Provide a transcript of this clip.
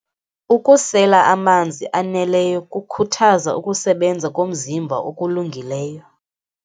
Ukusela amanzi aneleyo kukhuthaza ukusebenza komzimba okulungileyo.